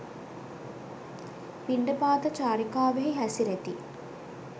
පිණ්ඩපාත චාරිකාවෙහි හැසිරෙති.